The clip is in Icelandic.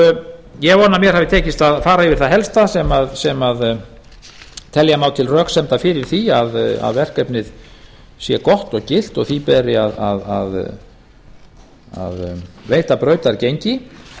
vona að mér hafi tekist að fara yfir það helsta sem telja má til röksemda fyrir því að verkefnið sé gott og gilt og því beri að veita brautargengi